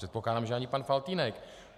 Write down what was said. Předpokládám, že ani pan Faltýnek.